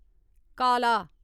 काला